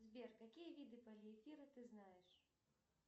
сбер какие виды полиэфира ты знаешь